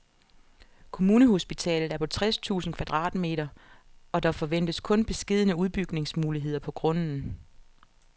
Kommunehospitalet er på tres tusind kvadratmeter, og der forventes kun beskedne udbygningsmuligheder på grunden.